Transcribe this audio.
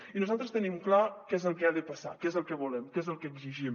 i nosaltres tenim clar què és el que ha de passar que és el que volem que és el que exigim